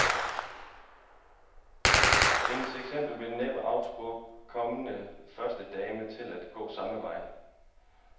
Hendes eksempel vil næppe anspore kommende førstedamer til at gå samme vej.